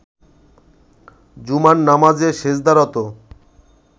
জুমার নামাজে সেজদারত